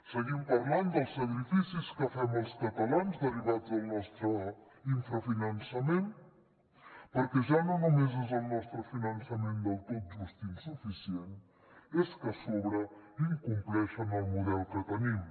seguim parlant dels sacrificis que fem els catalans derivats del nostre infrafinançament perquè ja no només és el nostre finançament del tot injust i insuficient és que a sobre incompleixen el model que tenim